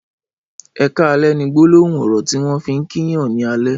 ''Ẹ kàlẹ̀'' ni gbólóhùn ọrọ tiwọn fi n kí yàn ni àlẹ̀